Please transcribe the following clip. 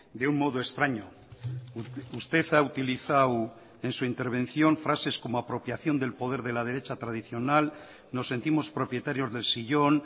de un modo extraño usted ha utilizado en su intervención frases como apropiación del poder de la derecha tradicional nos sentimos propietarios del sillón